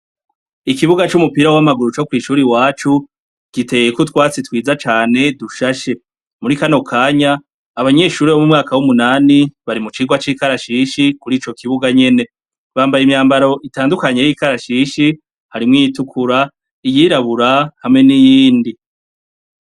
Ikibuga cumupira wamaguru co kwishure iwacu giteyeko utwatsi twiza cane dushashe muri kano kanya abanyeshure bumwaka wumunani bari mucirwa cikarashishi kurico kibuga nyene bambaye imyambaro itandukanye yikarashishi hari iyitukura iyirabura niyindi